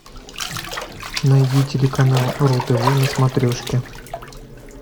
найди телеканал ру тв на смотрешке